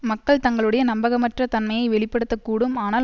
மக்கள் தங்களுடைய நம்பகமற்ற தன்மையை வெளிப்படுத்த கூடும் ஆனால்